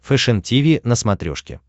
фэшен тиви на смотрешке